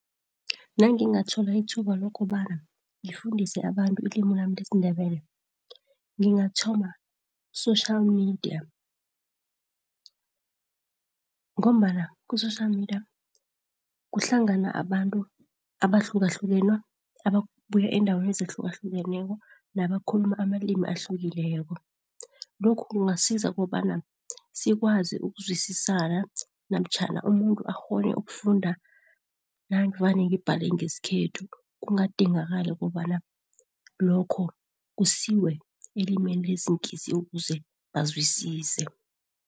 Nangingathola ithuba lokobana ngifundise abantu ilimu nami lesiNdebele, ngingathoma social media, ngombana ku-social media kuhlangana abantu abahlukahlukene, ababuya eendaweni ezahlukahlukeneko, nabakhuluma amalimi ahlukileko. Lokhu kungasiza kobana sikwazi ukuzwisisana, namtjhana umuntu akghone ukufunda navane ngibhale ngesikhethu, kugadingakali kobana lokho kusiwe elimini lesiNgisi ukuze bazwisise.